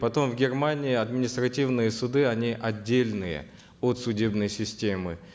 потом в германии административные суды они отдельные от судебной системы